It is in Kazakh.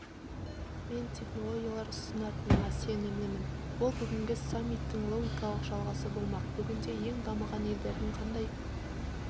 мен технологиялар ұсынылатынына сенімдімін ол бүгінгі саммиттің логикалық жалғасы болмақ бүгінде ең дамыған елдердің қандай